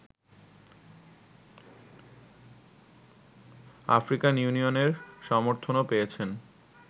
African ইউনিয়নের সমর্থনও পেয়েছেন